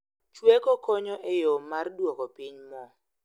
Chweko konyo e yoo mar duoko piny moo